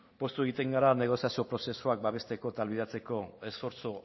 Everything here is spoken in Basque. poztu egiten gara negoziazio prozesuak babesteko eta ahalbidetzeko esfortzu